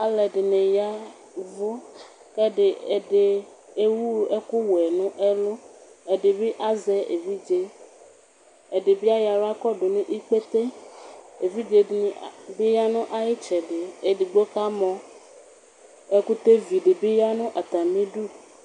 Alʋɛdini ya ɛvʋ kʋ ɛdi ewʋ ɛkʋwɛ nʋ ɛlʋ, ɛdibi azɛ evidze, ɛdibi ayɔ aɣla kɔdʋ nʋ ikpete Evidze dini bi yanʋ ayʋ itsɛdɩ, edigbo kamɔ, ɛkʋtɛ vidi bi yanʋ atami idʋ